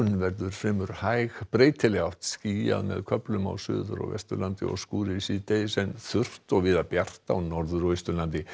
verður fremur hæg breytileg átt skýjað með köflum á Suður og Vesturlandi og skúrir síðdegis en þurrt og víða bjart á Norður og Austurlandi